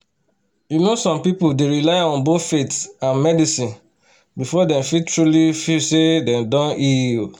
you know some people dey rely on both faith and medicine before dem fit truly feel say dem don heal."